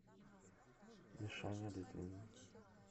мишаня литвин